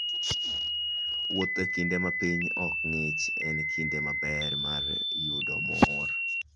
Wuoth e kinde ma piny ok ng'ich en kinde maber mar yudo mor.